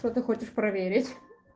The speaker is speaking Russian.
что ты хочешь проверить